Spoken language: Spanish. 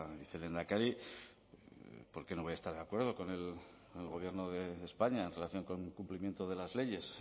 vicelehendakari por qué no voy a estar de acuerdo con el gobierno de españa en relación con el cumplimiento de las leyes